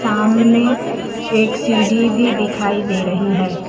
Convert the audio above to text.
सामने एक सीढ़ी भी दिखाई दे रही है।